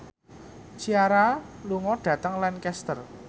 Ciara lunga dhateng Lancaster